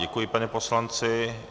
Děkuji panu poslanci.